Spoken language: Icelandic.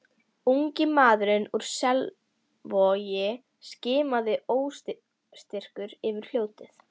Ungi maðurinn úr Selvogi skimaði óstyrkur yfir fljótið.